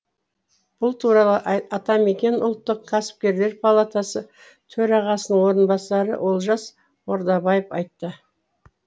бұл туралы атамекен ұлттық кәсіпкерлер палатасы төрағасының орынбасары олжас ордабаев айтты